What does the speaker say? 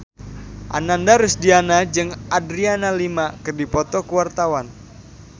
Ananda Rusdiana jeung Adriana Lima keur dipoto ku wartawan